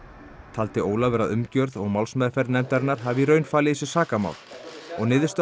taldi Ólafur að umgjörð og málsmeðferð nefndarinnar hafi í raun falið í sér sakamál og niðurstaða